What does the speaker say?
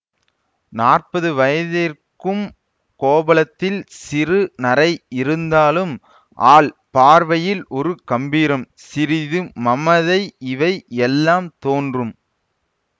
நாற்பது வயதிருக்கும் கோபலத்தில் சிறு நரை இருந்தாலும் ஆள் பார்வையில் ஒரு கம்பீரம் சிறிது மமதை இவை எல்லாம் தோன்றும்